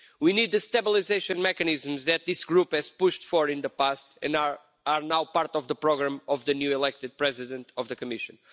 We need the stabilisation mechanisms that this group has pushed for in the past and are now part of the programme of the newly elected President of the Commission.